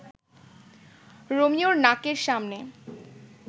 রোমিওর নাকের সামনে